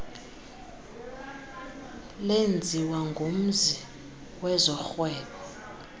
lenziwa ngumzi wezorhwebo